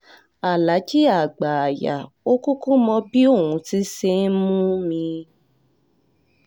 aláàjì àgbáàyà ò kúkú mọ bí òun ti ṣe ń mú mi